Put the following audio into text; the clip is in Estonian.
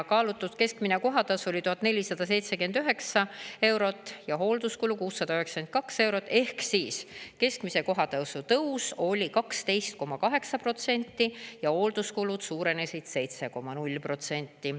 Kaalutud keskmine kohatasu oli 1479 eurot ja hoolduskulu 692 eurot ehk siis keskmine kohatasu tõus oli 12,8% ja hoolduskulud suurenesid 7,0%.